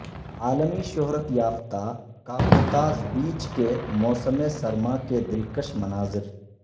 عالمی شہرت یافتہ کاپوتاژ بیچ کے موسم سرما کے دلکش مناظر